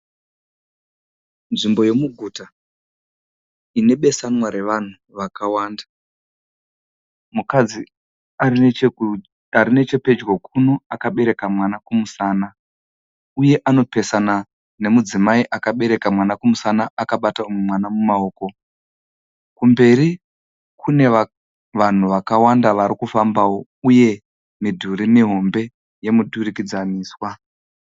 Nzvimbo yemuguta inepesamwa revanhu vakawanda .Mukadzi arinechepedjo kuno akabereka mwana kumusana, uye anopesana nemukadzimai akaberaka mwana kumusana akabata umwe mwana mumawoko. Kumberi kunevanhu vakawanda varikufamba wo, uye miduri mihombe yemiturikidziniswa.